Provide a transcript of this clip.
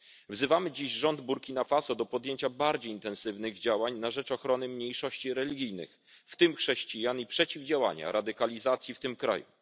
Wzywamy dziś rząd Burkina Faso do podjęcia bardziej intensywnych działań na rzecz ochrony mniejszości religijnych, w tym chrześcijan, i przeciwdziałania radykalizacji w tym kraju.